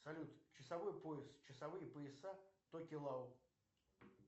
салют часовой пояс часовые пояса токелау